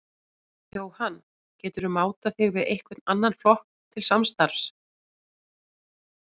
Jóhann: Geturðu mátað þig við einhvern annan flokk til samstarfs?